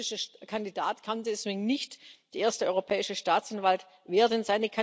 Der französische Kandidat kann deswegen nicht der erste Europäische Staatsanwalt werden.